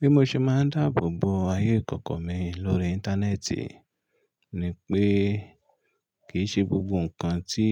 Bí mo ṣe máa ń dáàbò bo ayé ìkọ̀kọ̀ mi lórí Íńtánẹ́ẹ̀tì ni pé kìí ṣe gbogbo nǹkan tí